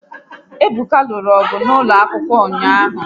Ebuka lụrụ ọgụ n'ụlọ akwụkwọ ụnyaahụ